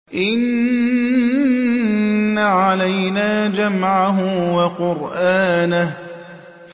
إِنَّ عَلَيْنَا جَمْعَهُ وَقُرْآنَهُ